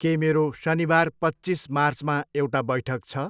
के मेरो शनिबार पच्चिस मार्चमा एउटा बैठक छ?